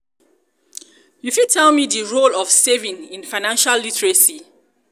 you fit tell me di role of saving in financial literacy?